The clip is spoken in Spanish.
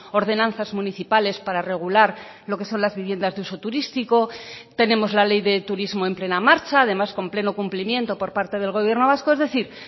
ordenanzas municipales para regular lo que son las viviendas de uso turístico tenemos la ley de turismo en plena marcha además con pleno cumplimiento por parte del gobierno vasco es decir